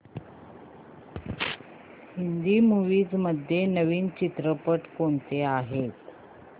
Hindi movies मध्ये नवीन चित्रपट कोणते आहेत